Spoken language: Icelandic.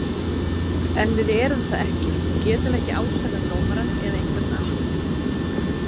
En við erum það ekki og getum ekki ásakað dómarann eða einhvern annan.